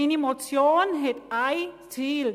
Meine Motion hat ein Ziel: